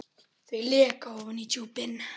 Þau leka ofan í djúpin.